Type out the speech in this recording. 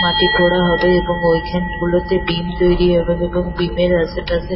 মাটি খোড়া হবে এবং ওইখানগুলোতে বিম তৈরি হবে এবং বিম এর আশেপাশে--